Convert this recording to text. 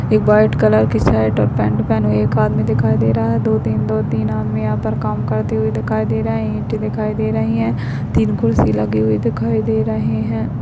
एक white colour की shirt और पेंट पहने हुए एक आदमी दिखाई दे रहा है दो तीन दो तीन आदमी यहाँ पर काम करते हुए दिखाई दे रहे हैं ईंटे दिखाई दे रही हैं तीन कुर्सी लगी हुई दिखाई दे रहे हैं।